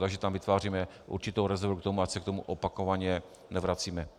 Takže tam vytváříme určitou rezervu k tomu, ať se k tomu opakovaně nevracíme.